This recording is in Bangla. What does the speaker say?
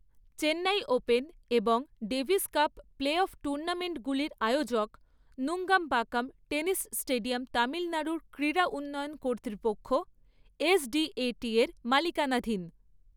চেন্নাই ওপেন এবং ডেভিস কাপ প্লে অফ টুর্নামেণ্টগুলির আয়োজক নুঙ্গমবক্কম টেনিস স্টেডিয়াম তামিলনাড়ুর ক্রীড়া উন্নয়ন কর্তৃপক্ষ এসডিএটি এর মালিকানাধীন।